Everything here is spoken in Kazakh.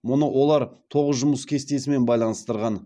мұны олар тоғыз жұмыс кестесімен байланыстырған